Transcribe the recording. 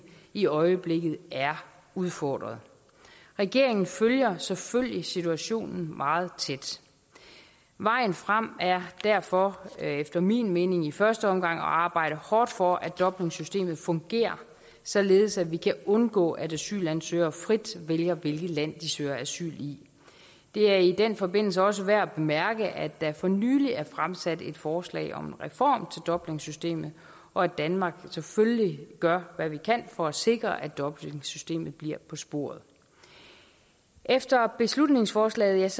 i øjeblikket er udfordret regeringen følger selvfølgelig situationen meget tæt vejen frem er derfor efter min mening i første omgang at arbejde hårdt for at dublinsystemet fungerer således at vi kan undgå at asylansøgere frit vælger hvilket land de søger asyl i det er i den forbindelse også værd at bemærke at der for nylig er fremsat et forslag om en reform af dublinsystemet og at danmark selvfølgelig gør hvad vi kan for at sikre at dublinsystemet bliver på sporet efter beslutningsforslaget